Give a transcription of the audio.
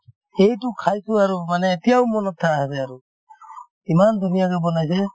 সেইটো খাইছো আৰু মানে এতিয়াও মনত থা আছে আৰু ইমান ধুনীয়া যে বনাইছে